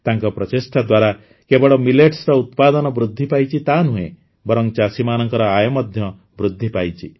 ତାଙ୍କ ପ୍ରଚେଷ୍ଟା ଦ୍ୱାରା କେବଳ ମିଲେଟ୍ସର ଉତ୍ପାଦନ ବୃଦ୍ଧି ପାଇଛି ତାହା ନୁହେଁ ବରଂ ଚାଷୀମାନଙ୍କ ଆୟ ମଧ୍ୟ ବୃଦ୍ଧି ପାଇଛି